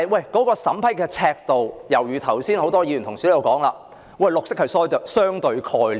然而，就審批的尺度而言，正如剛才很多議員所說，綠色是相對的概念。